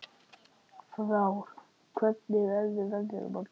Frár, hvernig verður veðrið á morgun?